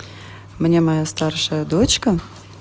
мне моя старшая дочка